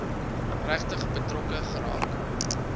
regtig betrokke geraak